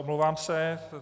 Omlouvám se.